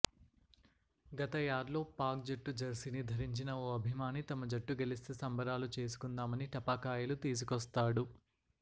గత యాడ్లో పాక్ జట్టు జెర్సీని ధరించిన ఓ అభిమాని తమ జట్టు గెలిస్తే సంబరాలు చేసుకుందామని టపాకాయలు తీసుకొస్తాడు